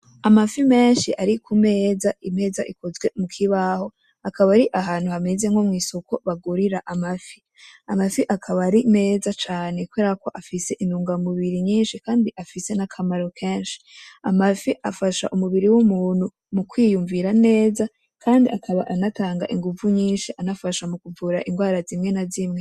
Amafi menshi ari ku meza, imeza ikozwe mu kibaho akaba ari ahantu hamez nko mw'isoko bagurira amafi. Amafi akaba ari meza cane kubera ko afise intungamubiri nyinshi kandi afise n'akamaro kenshi. Amafi afasha umubiri w'umuntu mu kwiyumvira neza, kandi akaba anatanga inguvu nyinshi anafasha kuvura ingwara zimwe na zimwe.